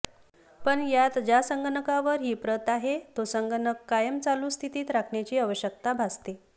पण यात ज्या संगणकावर ही प्रत आहे तो संगणक कायम चालू स्थितीत राखण्याची आवश्यकता भासते